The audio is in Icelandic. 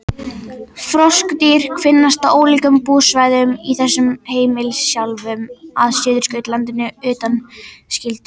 Froskdýr finnast á ólíkum búsvæðum í öllum heimsálfum að Suðurskautslandinu undanskildu.